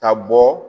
Ka bɔ